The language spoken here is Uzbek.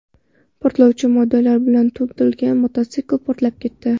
Portlovchi moddalar bilan to‘ldirilgan mototsikl portlab ketdi.